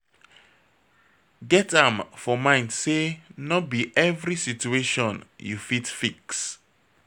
Get am for mind sey no be every situation you fit fix